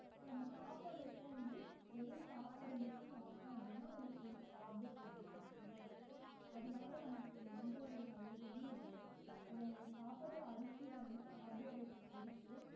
இப்ப நம்ம சாப்பிடுறப்போ வந்து வெறும் சாப்பாடு மட்டும் சாப்பிட்டோம் அப்படின்னா அதுல full ஆ கார்போஹைட்ரேட் மட்டும்தான் இருக்கும் அதனால நமக்கு எந்த ஒரு நல்லதுமே இல்லை நம்ம சாப்பிடுற அரிசியில வந்து கார்போஹைட்ரேட் இருக்கு